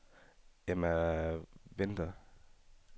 Emma Winther